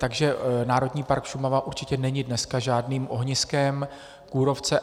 Takže Národní park Šumava určitě není dneska žádným ohniskem kůrovce.